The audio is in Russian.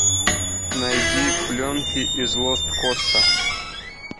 найди пленки из лост коста